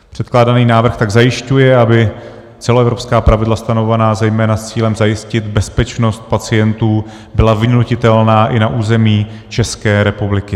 Předkládaný návrh tak zajišťuje, aby celoevropská pravidla, stanovovaná zejména s cílem zajistit bezpečnost pacientů, byla vynutitelná i na území České republiky.